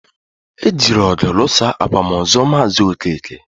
E jiri ọgụ lụsaa akwamozu maazi Okeke